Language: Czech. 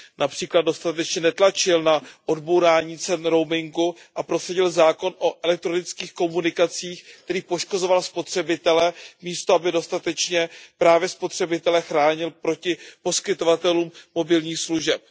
Například dostatečně netlačil na odbourání cen roamingu a prosadil zákon o elektronických komunikacích, který poškozoval spotřebitele, místo aby dostatečně právě spotřebitele chránil proti poskytovatelům mobilních služeb.